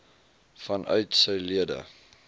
vanuit sy lede